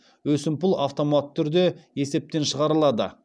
өсімпұл автоматты түрде есептен шығарылады